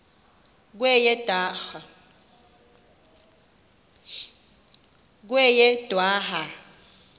kweyedwarha